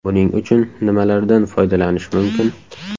Buning uchun nimalardan foydalanish mumkin?